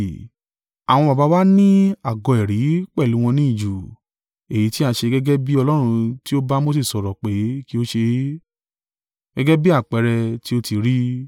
“Àwọn baba wa ní àgọ́ ẹ̀rí pẹ̀lú wọn ní ijù. Èyí tí a ṣe gẹ́gẹ́ bí Ọlọ́run tí ó ba Mose sọ̀rọ̀ pé kí ó ṣe é, gẹ́gẹ́ bí àpẹẹrẹ tí ó ti rí.